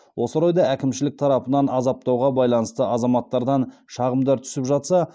осы орайда әкімшілік тарапынан азаптауға байланысты азаматтардан шағымдар түсіп жатса